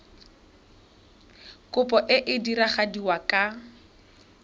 kopo e e diragadiwa ka